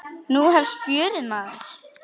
Nú hefst fjörið, maður.